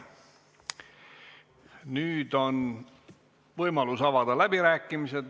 Nüüd on võimalus avada läbirääkimised.